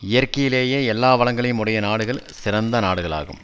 இயற்கையிலேயே எல்லா வளங்களையும் உடைய நாடுகள் சிறந்த நாடுகளாகும்